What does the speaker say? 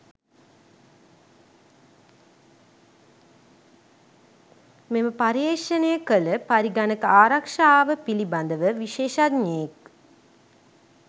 මෙම පර්යේෂණය කළ පරිගණක ආරක්ශාව පිළිඹදව විශේෂඥයෙක්